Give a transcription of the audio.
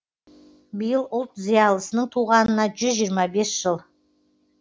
биыл ұлт зиялысының туғанына жүз жиырма бес жыл